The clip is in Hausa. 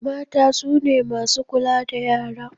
Mata sune masu kula da yara